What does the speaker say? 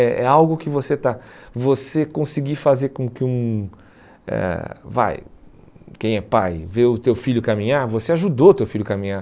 É é algo que você está, você conseguir fazer com que um eh, vai, quem é pai, vê o teu filho caminhar, você ajudou o teu filho a caminhar.